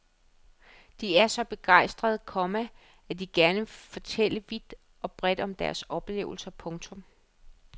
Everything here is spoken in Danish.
De er så begejstrede, komma at de gerne vil fortælle vidt og bredt om deres oplevelser. punktum